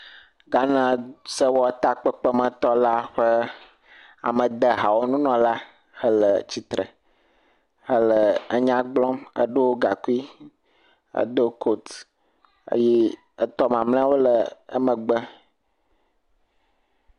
Ghana sewɔtakpekpemetɔ la ƒe amedehawo nunɔla le tsitre ele nya gblɔm, eɖo gaŋkui edo koti eye etɔ mamlɛawo le emegbe.